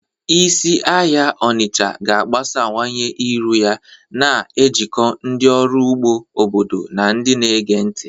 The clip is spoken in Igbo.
Isi ahịa Onitsha ga-agbasawanye iru ya, na-ejikọ ndị ọrụ ugbo obodo na ndị na-ege ntị.